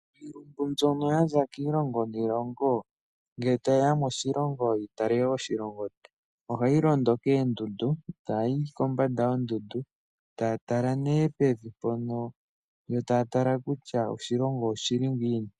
Iilumbu mbyono yaza kiilongo niilongo ngele ta yeya moshilongo yi tale oshilongo oha yi londo koondundu eta ya yi kombanda yoondundu eta ya tala nee pevi mpono yo eta ya tala nee kutya oshilongo oshi li ngiini.